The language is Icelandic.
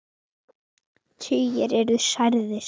Tugir eru særðir.